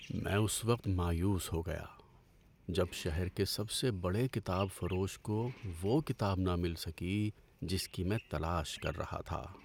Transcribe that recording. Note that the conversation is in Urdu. میں اس وقت مایوس ہو گیا جب شہر کے سب سے بڑے کتاب فروش کو وہ کتاب نہ مل سکی جس کی میں تلاش کر رہا تھا۔